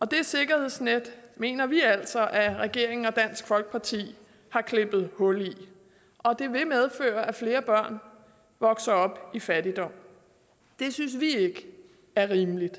det sikkerhedsnet mener vi altså at regeringen og dansk folkeparti har klippet hul i og det vil medføre at flere børn vokser op i fattigdom det synes vi ikke er rimeligt og